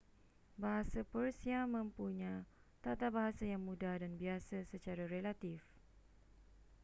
bahasa persia mempunya tatabahasa yang mudah dan biasa secara relatif